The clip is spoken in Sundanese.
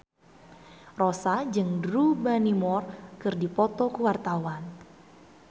Rossa jeung Drew Barrymore keur dipoto ku wartawan